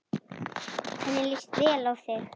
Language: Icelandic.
Henni líst vel á þig.